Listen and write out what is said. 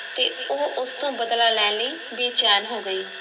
ਤੇ ਉਹ ਉਸ ਤੋਂ ਬਦਲਾ ਲੈਣ ਲਈ ਬੇਚੈਨ ਹੋ ਗਈ।